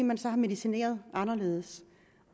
man har medicineret anderledes